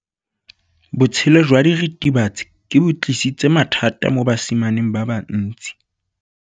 Botshelo jwa diritibatsi ke bo tlisitse mathata mo basimaneng ba bantsi.